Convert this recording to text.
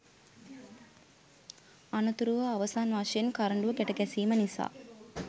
අනතුරුව අවසන් වශයෙන් කරඬුව ගැට ගැසීම නිසා